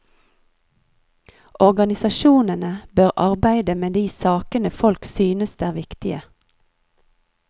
Organisasjonene bør arbeide med de sakene folk synes er viktige.